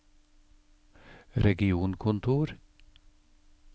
regionkontor